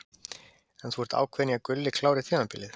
En þú ert ákveðinn í að Gulli klári tímabilið?